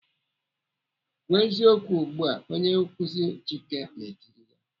"Kwuo eziokwu ugbu a!" Onye nkuzi Chike na-etiri ya.